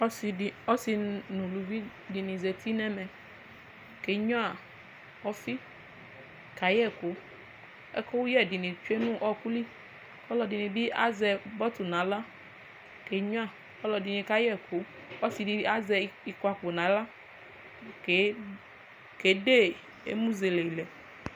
Ɔsi nʋ ʋlʋvi dini zati nʋ ɛmɛ kenyua ɔfi kayɛ ɛkʋ ɛkʋyɛ dini bi tsue nʋ ɔkʋli ɔlɔdini bi azɛ pɔt nʋ aɣla kenyua ɔlɔdi kayɛ ɛkʋ ɔsidi azɛ kɔpu nʋ aɣla kede emʋ zelelɛ